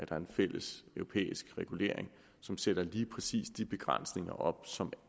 der en fælles europæisk regulering som sætter lige præcis de begrænsninger op som